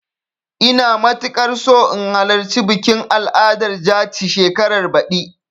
Ina matuƙar so in halarci bikin al'adar jaci shekarar baɗi.